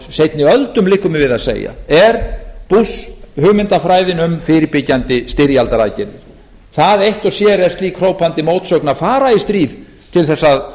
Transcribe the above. seinni öldum liggur mér við að segja er bush hugmyndafræðin um fyrirbyggjandi styrjaldaraðgerðir það eitt og sér er slík hrópandi mótsögn að fara í stríð með það að